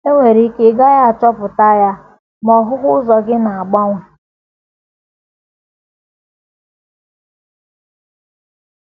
E nwere ike ị gaghị achọpụta ya, ma ọhụhụ ụzọ gị na - agbanwe.